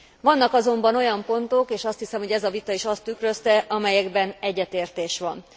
Vannak azonban olyan pontok, és azt hiszem, hogy ez a vita is azt tükrözte, amelyekben egyetértés van.